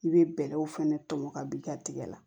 I bɛ bɛlɛw fɛnɛ tɔmɔ ka b'i ka tigɛ la